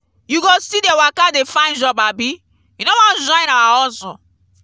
you go still dey waka dey find job abi you wan join our hustle?